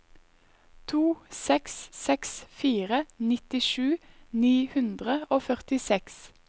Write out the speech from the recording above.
to seks seks fire nittisju ni hundre og førtiseks